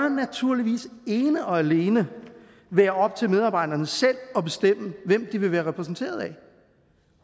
naturligvis ene og alene være op til medarbejderne selv at bestemme hvem de vil være repræsenteret af